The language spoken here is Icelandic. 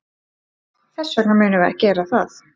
Þess vegna munum við gera það.